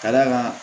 Ka d'a kan